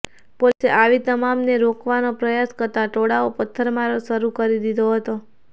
પોલીસે આવી તમામને રોકવાનો પ્રયાસ કરતા ટોળાએ પથ્થરમારો શરૂ કરી દીધો હતો